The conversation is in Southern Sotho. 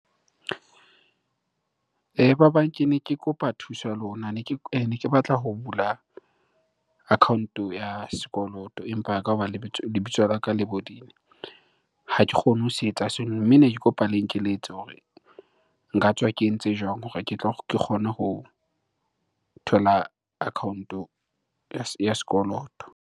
Ba bang kene ke kopa thuso ya lona. Ne ke, ne ke batla ho bula account-o ya sekoloto empa ka hoba lebitso la ka le bodile, ha ke kgone ho se etsa seno. Mme ne ke kopa le nkekeletse hore nka tswa ke entse jwang hore ke tlo , ke kgone ho thola account-o ya sekoloto.